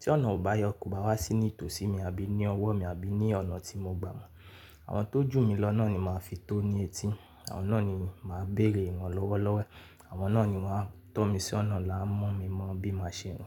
Tí ọ̀nà àbáyọ kò bá wá sí nítòsí mi àbí ní ọwọ́ mi àbí ní ọ̀nà tí mo gbà mọ́, àwọn tó jù mí lọ náà ni màá fi tó ní etí. Àwọn náà ni màá béèrè wọn lọ́wọ́lọ́wọ́. Àwọn náà ni wọ́n a tọ́ mi sí ọ̀nà la ń mú mi mọ bí màá ṣe hun.